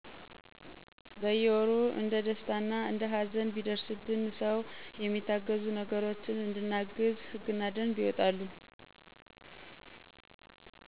በየወሩ አንደ ደስታ እንደ ሀዘን ቢደረሰበት ሰው የሚታገዙ ነገሮችን እንድናግዝ ህግና ደንብ የወጣሉ